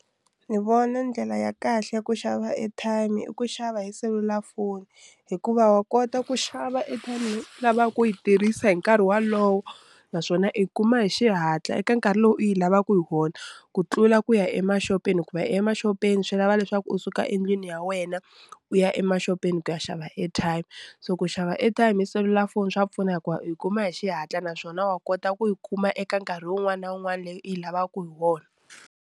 Ni vona ndlela ya kahle ku xava airtime i ku xava hi selulafoni hikuva wa kota ku xava airtime lavaka ku yi tirhisa hi nkarhi walowo naswona i kuma hi xihatla eka nkarhi lowu u yi lavaka hi wona ku tlula ku ya emaxopeni hikuva emaxopeni swi lava leswaku u suka endlwini ya wena u ya emaxopeni ku ya xava airtime so ku xava airtime hi selulafoni swa pfuna hikuva u yi kuma hi xihatla naswona wa kota ku yi kuma eka nkarhi wun'wani na wun'wani leyi u yi lavaka hi wona.